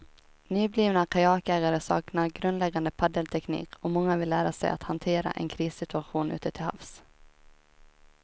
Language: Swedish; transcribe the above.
Nyblivna kajakägare saknar grundläggande paddelteknik och många vill lära sig att hantera en krissituation ute till havs.